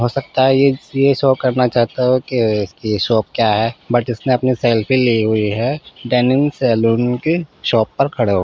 हो सकता है ये शो करना चाहता है की की शौक क्या है बट इसने अपनी सेल्फी लियी हुयी है डयानिम् सैलून के शॉप पर खड़े हो के।